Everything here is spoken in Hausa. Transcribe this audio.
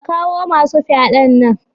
Ka kawo masu fyaɗan nan.